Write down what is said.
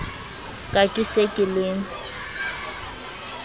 ka ke se ke le